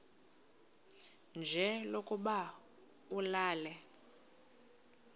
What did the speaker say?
nje lokuba ulale